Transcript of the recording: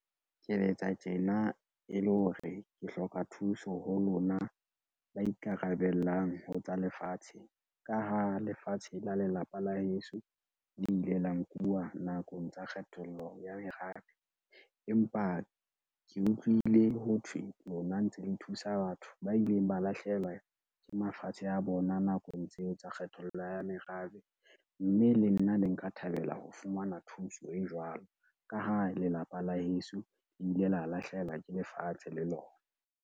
Ke letsa tjena e le hore ke hloka thuso ho lona ba ikarabellang ho tsa lefatshe, ka ha lefatshe la lelapa la heso le ile la nkuwa nakong tsa kgethollo ya merabe. Empa ke utlwile ho thwe lona ntse le thusa batho ba ileng ba lahlehelwa ke mafatshe a bona nakong tseo tsa kgethollo ya merabe, mme le nna ne nka thabela ho fumana thuso e jwalo ka ha lelapa la heso le ile la lahlehelwa ke lefatshe le lona.